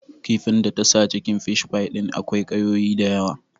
Kifin ta tasa cikin fishfai din akwai ƙayoyi da yawa